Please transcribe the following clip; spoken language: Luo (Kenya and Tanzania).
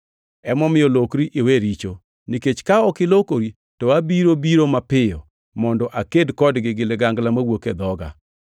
Emomiyo lokri iwe richo! Nikech ka ok ilokori to abiro biro mapiyo mondo aked kodgi gi ligangla mawuok e dhoga.